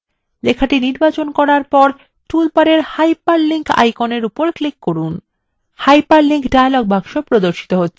লেখাটি নির্বাচন করার পর toolbar hyperlink আইকনের উপর click করুন